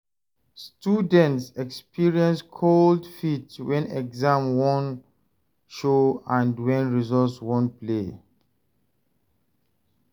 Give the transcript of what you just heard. Students de experience cold feet when exam won show and when results won play